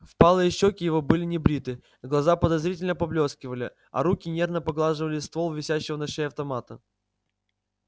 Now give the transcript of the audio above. впалые щеки его были небриты глаза подозрительно поблескивали а руки нервно поглаживали ствол висящего на шее автомата